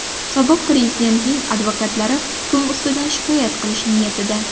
Sobiq prezidentning advokatlari hukm ustidan shikoyat qilish niyatida.